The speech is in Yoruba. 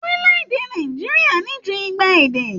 Orilẹ-èdè Nàìjíríà ní jù igba èdè.